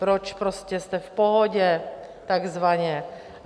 Proč prostě jste v pohodě, takzvaně.